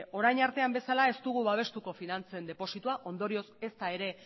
orain artean bezala ez dugu babestuko finantzen depositoa ondorioz ezta ere